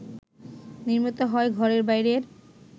নির্মিত হয় ঘরে বাইরে